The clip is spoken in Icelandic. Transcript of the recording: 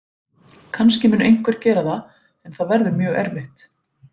Kannski mun einhver gera það en það verður mjög erfitt.